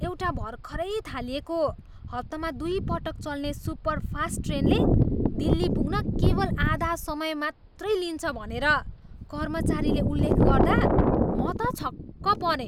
एउटा भर्खरै थालिएको हप्तामा दुईपटक चल्ने सुपरफास्ट ट्रेनले दिल्ली पुग्न केवल आधा समय मात्रै लिन्छ भनेर कर्मचारीले उल्लेख गर्दा म त छक्क परेँ।